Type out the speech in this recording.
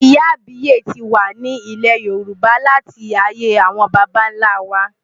Ìyá àbíyè ti wà ní ilẹ̀ Yorùbá láti ayé àwọn baba ńlá wa.